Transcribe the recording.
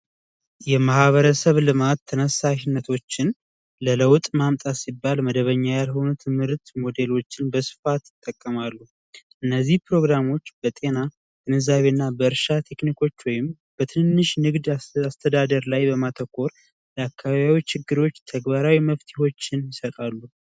የማህበረሰብ ልማት ተነሳሽነቶችን ለለውጥ መምጣት ሲባል መደበኛ ያልሆነ ትምህርት ሞዴሎችን በስፋት ተከማሩ እነዚህ ፕሮግራሞች በጤና በእርሻ ቴክኒኮች ወይም በትንሽ ንግድ አስተዳደር ላይ በማተኮር አካባቢዎች ችግሮች ተግባራዊ መፍትሄዎችን ይሰጣሉ።